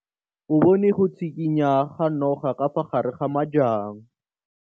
O bone go tshikinya ga noga ka fa gare ga majang.